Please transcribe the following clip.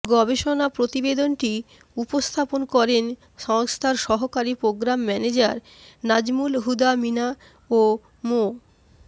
গবেষণা প্রতিবেদনটি উপস্থাপন করেন সংস্থার সহকারী প্রোগ্রাম ম্যানেজার নাজমুল হুদা মিনা ও মো